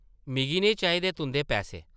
मिगी नेईं चाहिदे तुंʼदे पैसे ।